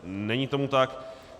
Není tomu tak.